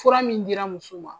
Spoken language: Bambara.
Fura min dira muso ma.